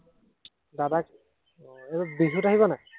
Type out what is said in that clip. দাদাক উম এৰ বিহুত আহিব নাই?